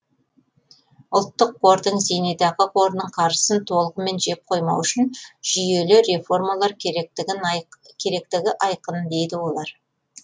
ұлттық қордың зейнетақы қорының қаржысын толығымен жеп қоймау үшін жүйелі реформалар керектігі айқын дейді олар